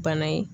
Bana ye